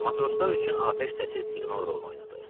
Matroslar üçün atəş səsi siqnal rolunu oynadı.